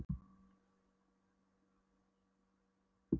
Helstu fylgikvillar hans eru heilablæðing, æðasjúkdómar og nýrnabilun.